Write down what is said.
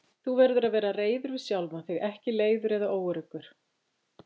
Þú verður að vera reiður við sjálfan þig, ekki leiður eða óöruggur.